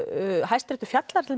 hæsti réttur fjallar